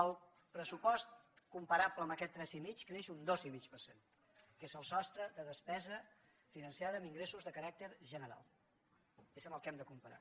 el pressupost comparable amb aquest tres i mig creix un dos i mig per cent que és el sostre de despesa finançada amb ingressos de caràcter general és amb el que hem de comparar